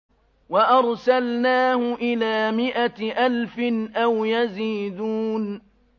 وَأَرْسَلْنَاهُ إِلَىٰ مِائَةِ أَلْفٍ أَوْ يَزِيدُونَ